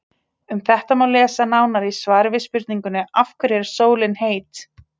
Um þetta má lesa nánar í svari við spurningunni Af hverju er sólin heit?.